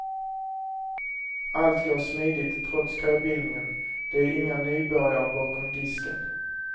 Allt går smidigt trots köbildningen, det är inga nybörjare bakom disken.